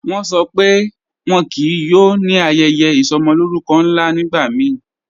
Wọ́n ṣọ́ pé wọ́n kíí yóò ní ayẹyẹ isọmọlórùkọ́ nla nígbàmíì